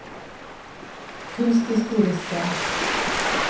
kunsthistoriske